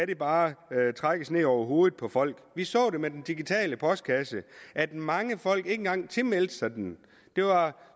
det bare trækkes ned over hovedet på folk vi så med den digitale postkasse at mange folk ikke engang tilmeldte sig den det var